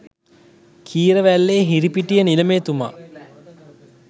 කීරවැල්ලේ හිරිපිටිය නිලමේ තුමා ය.